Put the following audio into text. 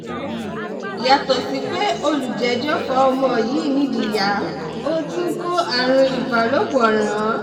yàtọ̀ sí pé olùjẹ́jọ fa ọmọ yìí nídìí yá ó tún kó àrùn ìbálòpọ̀ ràn án